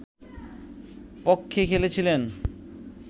পক্ষে খেলেছিলেন